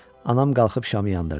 Anam qalxıb şamı yandırdı.